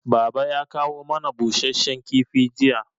Baba ya kawo mana busasshen kifi jiya